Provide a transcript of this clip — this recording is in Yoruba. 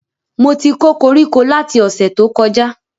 Mo ti kó koríko lati ọ̀sẹ̀ tó kọjá